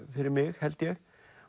fyrir mig held ég